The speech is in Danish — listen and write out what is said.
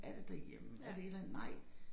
Er det derhjemme er det et eller andet nej